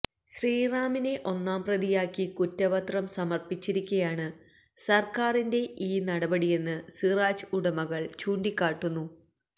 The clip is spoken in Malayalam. ശ്രീറാമിനെ ഒന്നാം പ്രതിയാക്കി കുറ്റപത്രം സമര്പ്പിച്ചിരിക്കെയാണ് സര്ക്കാരിന്റെ ഈ നടപടിയെന്ന് സിറാജ് ഉടമകള് ചൂണ്ടിക്കാട്ടുന്നു